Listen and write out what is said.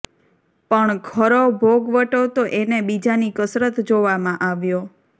પણ ખરો ભોગવટો તો એને બીજાની કસરત જોવામાં આવ્યો